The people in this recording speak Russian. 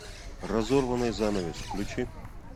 разорванный занавес включи